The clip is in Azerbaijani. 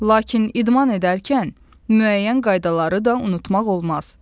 Lakin idman edərkən müəyyən qaydaları da unutmaq olmaz.